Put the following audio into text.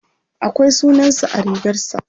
akwai sunansa a rigarsa